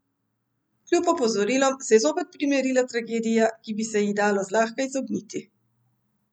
Kljub opozorilom se je zopet primerila tragedija, ki bi se ji dalo zlahka izogniti.